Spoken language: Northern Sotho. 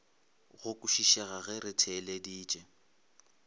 go kwešišega ge re theeleditše